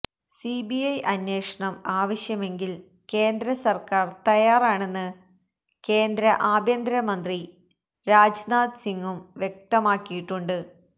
CBI അന്വേഷണം ആവശ്യമെങ്കിൽ കേന്ദ്രസർക്കാർ തയ്യാറാണെന്ന് കേന്ദ്ര ആഭ്യന്തര മന്ത്രി രാജ്നാഥ് സിംഗും വ്യക്തമാക്കിയിട്ടുണ്ട്